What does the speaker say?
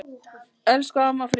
Elsku amma Fríða.